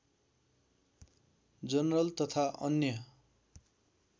general तथा अन्य